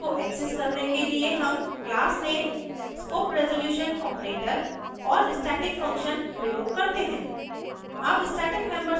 static function को access करने के लिए हम क्लासनेम :: स्कोप रेज़ोल्यूशन ऑपरेटर और स्टैटिक फंक्शन प्रयोग करते हैं